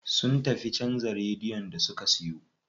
Sun tafi canza radiyon da suka siyo.